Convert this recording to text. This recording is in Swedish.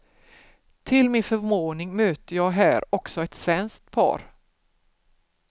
Till min förvåning möter jag här också ett svenskt par.